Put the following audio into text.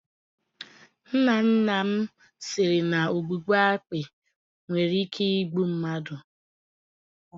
Nna nna m siri na ọgbụgba akpi nwere ike igbu mmadụ.